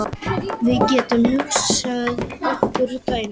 Við getum hugsað okkur dæmi.